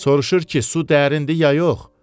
Soruşur ki, su dərindir ya yox?